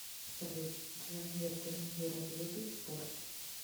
салют джангир джангиров любит спорт